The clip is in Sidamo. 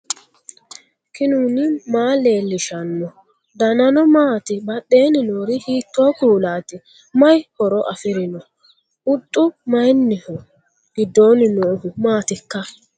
knuni maa leellishanno ? danano maati ? badheenni noori hiitto kuulaati ? mayi horo afirino ? huxxu maayinniho giddoonni noohu maatikka